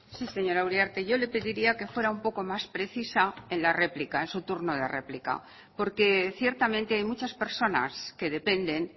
sí señora uriarte yo le pediría que fuera un poco más precisa en la réplica en su turno de réplica porque ciertamente hay muchas personas que dependen